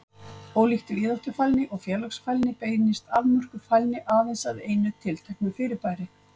Ólíkt víðáttufælni og félagsfælni beinist afmörkuð fælni aðeins að einu tilteknu fyrirbæri.